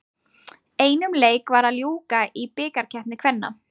Einum leik var að ljúka í bikarkeppni kvenna.